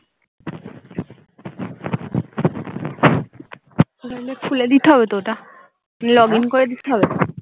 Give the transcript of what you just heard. খুলে দিতে হবে তো ওটা নিয়ে এমন করে দিখাবো